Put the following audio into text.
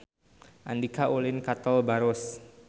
Andika ulin ka Tol Baros